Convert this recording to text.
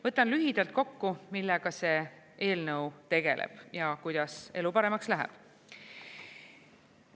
Võtan lühidalt kokku, millega see eelnõu tegeleb ja kuidas elu paremaks läheb.